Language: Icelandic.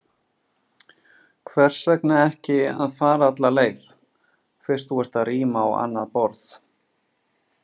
Hvers vegna ekki að fara alla leið, fyrst þú ert að ríma á annað borð?